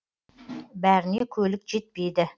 бәріне көлік жетпейді